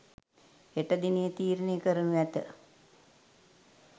හෙට දිනයේ තීරණය කරනු ඇත.